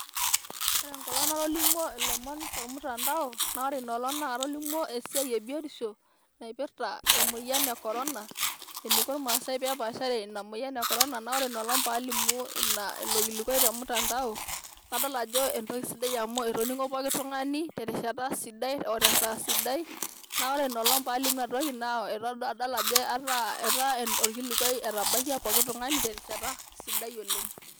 Keeta engolong' natolimuo ilomon tolmutandao naa ore Ina olong' naa katolimuo esiai ebiotisho naipirta emoyian ekorona, eneiko irmasae tenepaashare emoyian ekorona naa ore apa Ina olong' paalimu ilo kilukuai nadol ajo entoki sidai amu etoning'o pooki tung'ani terishata sidai otesaa sidai, naa ore Ina olong' paalimu Ina toki naa adol ajo ataa etaa orkilikuai etabakia pooki tung'ani terishata sidai oleng'.